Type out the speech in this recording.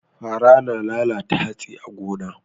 Fara na lalata hatsi a gona.